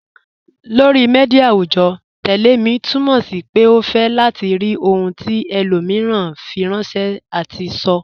Lọri míḍíà awùjọ́, "tẹlẹ̀ mi" túmọ̀ sí pé o fẹ́ látì rí ohun tí ẹlòmíran fíranṣẹ̀ àti sọ́.